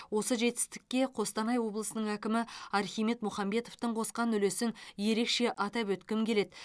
осы жетістікке қостанай облысының әкімі архимед мұхамбетовтің қосқан үлесін ерекше атап өткім келеді